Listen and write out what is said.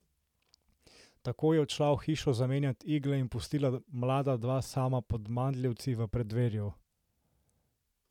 Tako je odšla v hišo zamenjat igle in pustila mlada dva sama pod mandljevci v preddverju.